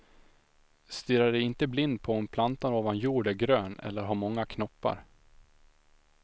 Stirra dig inte blind på om plantan ovan jord är grön eller har många knoppar.